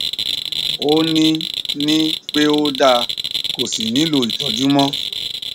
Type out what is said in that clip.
ó ní ní pé ó da kò sí nihlò ìtọjú mọ